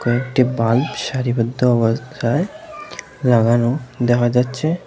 কয়েকটি বাল্ব সারিবদ্ধ অবস্থায় লাগানো দেখা যাচ্ছে।